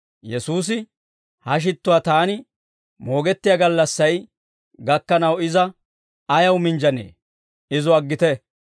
Yesuusi, «Ha shittuwaa Taani moogettiyaa gallassay gakkanaw iza ayaw minjjanee? Izo aggite.